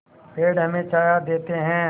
पेड़ हमें छाया देते हैं